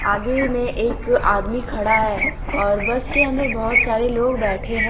आगे में एक आदमी खड़ा है और बस के अंदर बहुत सारे लोग बैठे हैं ।